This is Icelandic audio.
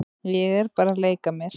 Ég er bara að leika mér.